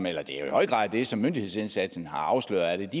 er jo i høj grad det som myndighedsindsatsen har afsløret